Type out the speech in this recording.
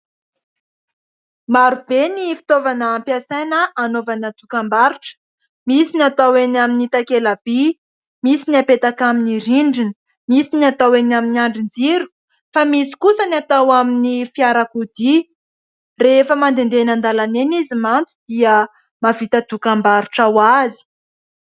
Maro be ny fitaovana ampiasaina anaovana dokam-barotra. Misy ny atao eny amin'ny takelabỳ, misy ny apetaka amin'ny rindrina, misy ny atao eny amin'ny andrin-jiro, fa misy kosa ny atao amin'ny fiarakodia. Rehefa mandehandeha eny an-dalana eny izy mantsy dia mahavita dokam-barotra ho azy.